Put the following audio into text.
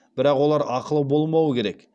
бірақ олар ақылы болмауы керек